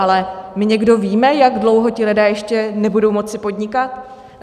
Ale my někdo víme, jak dlouho ti lidé ještě nebudou moci podnikat?